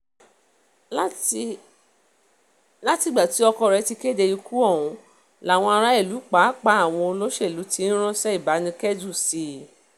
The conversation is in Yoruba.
látìgbà tí ọkọ rẹ̀ ti kéde ikú ọ̀hún làwọn aráàlú pàápàá àwọn olóṣèlú ti ń ránṣẹ́ ìbánikẹ́dùn sí i